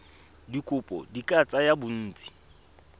dikopo di ka tsaya bontsi